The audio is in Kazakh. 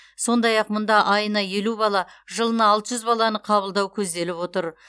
сондай ақ мұнда айына елу бала жылына алты жүз баланы қабылдау көзделіп отыр